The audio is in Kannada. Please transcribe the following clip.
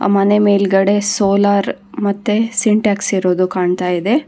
ಮನೆ ಮೇಲ್ಗಡೆ ಸೋಲಾರ್ ಮತ್ತೆ ಸಿಂಟಾಕ್ಸ್ ಇರೋದು ಕಾಣ್ತಾ ಇದೆ.